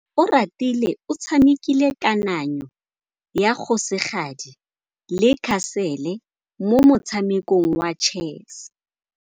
Oratile o tshamekile kananyô ya kgosigadi le khasêlê mo motshamekong wa chess.